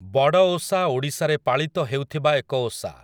ବଡ଼ଓଷା ଓଡ଼ିଶାରେ ପାଳିତ ହେଉଥିବା ଏକ ଓଷା ।